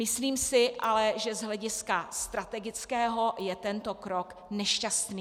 Myslím si ale, že z hlediska strategického je tento krok nešťastný.